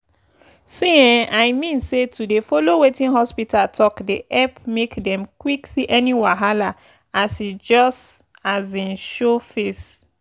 see eh i mean say to dey follow wetin hospita talk dey epp make dem quck see any wahala as e just um show face.